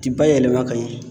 Ti ba yɛlɛma ka ɲɛ.